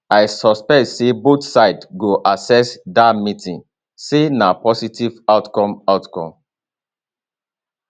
i suspect say both sides go assess dat meeting say na positive outcome outcome